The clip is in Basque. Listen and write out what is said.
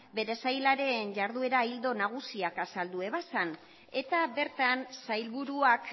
bere sailaren jarduera ildo nagusiak azaldu zituen eta bertan sailburuak